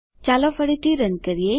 ચાલો ફરીથી રન કરીએ